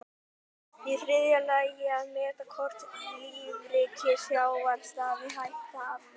Í þriðja lagi að meta hvort lífríki sjávar stafi hætta af mengun.